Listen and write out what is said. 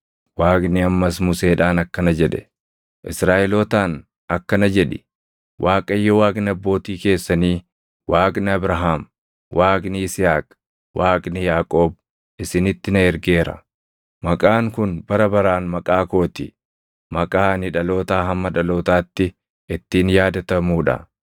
Waaqni ammas Museedhaan akkana jedhe; “Israaʼelootaan akkana jedhi; ‘ Waaqayyo Waaqni abbootii keessanii, Waaqni Abrahaam, Waaqni Yisihaaq, Waaqni Yaaqoob isinitti na ergeera.’ “Maqaan kun bara baraan maqaa koo ti; maqaa ani dhalootaa hamma dhalootaatti ittiin yaadatamuu dha.